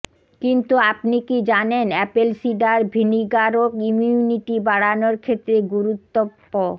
কিন্তু আপনি কি জানেন অ্যাপেল সিডার ভিনিগারও ইমিউনিটি বাড়ানোর ক্ষেত্রে গুরুত্বপ